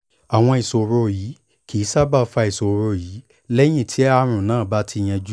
àwọn ìṣòro yìí kì í sábà fa ìṣòro yìí lẹ́yìn tí àrùn náà bá ti yanjú